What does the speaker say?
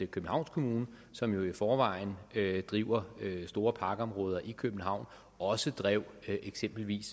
københavns kommune som jo i forvejen driver store parkområder i københavn også drev eksempelvis